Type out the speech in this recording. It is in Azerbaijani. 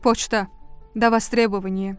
Poçta davastrebovaniya.